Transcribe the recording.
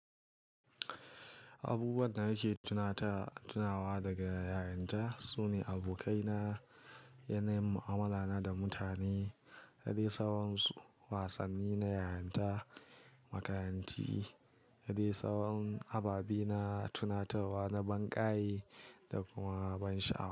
Abubuwan da nake tuna ta, tunawa daga yarinta sune abokaina, yanayin mu'amala na da mutane, har yasa wasanni na yarinta, makaranti, da dai sauran ababe na tunatarwa na ban ƙayi da kuma ban sha'awa.